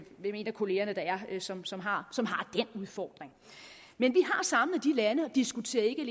kollegaerne er som som har den udfordring vi har samlet de lande og diskuterer ikke